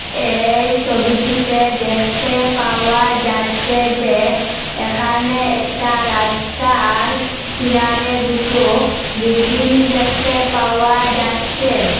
এই সবিটিতে দ্যাখতে পাওয়া যাচ্চে যে এখানে একটা রাস্তার কিনারে দুটো বিল্ডিং দ্যাখতে পাওয়া যাচ্চে ।